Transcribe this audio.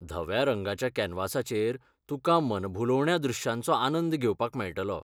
धव्या रंगाच्या कॅनव्हासाचेर तुकां मनभुलोवण्या दृश्यांचो आनंद घेवपाक मेळटलो.